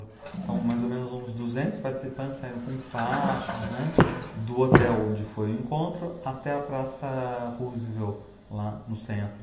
Então, mais ou menos uns duzentos participantes saíram com faixas, né, do hotel onde foi o encontro até a Praça Roosevelt, lá no centro.